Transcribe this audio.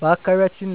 በአካባቢያችን